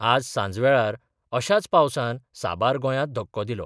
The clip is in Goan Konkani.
आज सांजवेळार अशाच पावसान साबार गोंयांत धक्को दिलो.